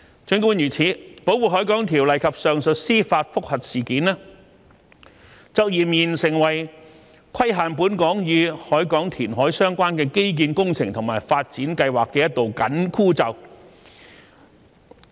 儘管如此，《條例》及上述司法覆核事件卻儼然成為規限本港與海港填海相關的基建工程和發展計劃的一道"緊箍咒"。